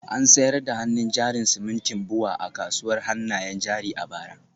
An sayar da hannun jarin simintin BUA a kasuwar hannayen jari a bara